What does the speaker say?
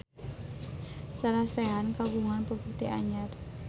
Sarah Sechan kagungan properti anyar